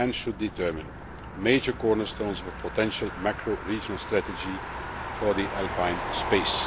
It should also determine the major cornerstones of a potential macro regional strategy for the Alpine Space.